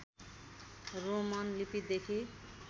Roman लिपिदेखि